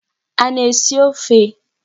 A na-esi ofe?